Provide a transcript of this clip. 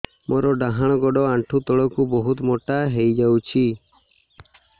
ମୋର ଡାହାଣ ଗୋଡ଼ ଆଣ୍ଠୁ ତଳକୁ ବହୁତ ମୋଟା ହେଇଯାଉଛି